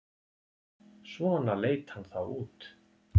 Svona leit hann þá út.